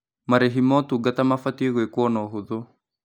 Marĩhi ma ũtungata mabatiĩ gwĩkwo na ũhũthũ.